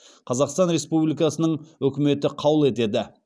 қазақстан республикасының үкіметі қаулы етеді